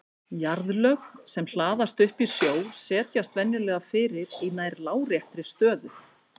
Jarðlög sem hlaðast upp í sjó setjast venjulega fyrir í nær láréttri stöðu.